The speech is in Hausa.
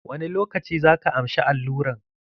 Wani lokaci zaka amshi alluran?